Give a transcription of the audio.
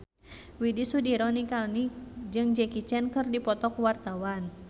Widy Soediro Nichlany jeung Jackie Chan keur dipoto ku wartawan